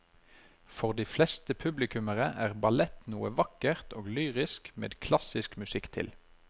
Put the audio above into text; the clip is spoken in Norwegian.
For de fleste publikummere er ballett noe vakkert og lyrisk med klassisk musikk til.